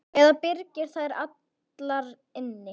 Eða byrgir þær allar inni.